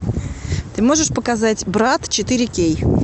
ты можешь показать брат четыре кей